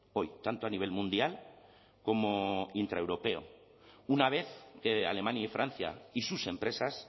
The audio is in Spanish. hoy tanto a nivel mundial como intraeuropeo una vez que alemania y francia y sus empresas